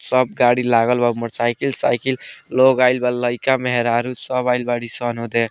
सब गाड़ी लागल बा मोटरसाइकिल साइकिल लोग आएल बा लईका मेहरारू सब आएल बाड़ी सन उदे।